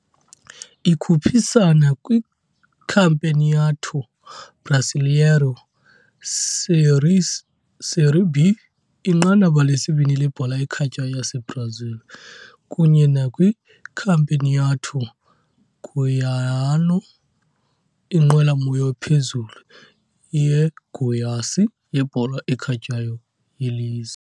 Ikhuphisana kwiCampeonato Brasileiro Série B, inqanaba lesibini lebhola ekhatywayo yaseBrazil, kunye nakwiCampeonato Goiano, inqwelomoya ephezulu yeGoiás yebhola ekhatywayo yelizwe.